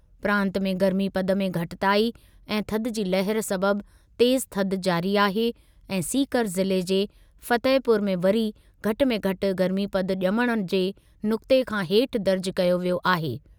प्रांत में गर्मीपदु में घटिताई ऐं थधि जी लहर सबबि तेज़ु थधि जारी आहे ऐं सीकर ज़िले जे फतेहपुर में वरी घटि में घटि गर्मीपदु ॼमण जे नुक़्ते खां हेठि दर्ज़ कयो वियो आहे।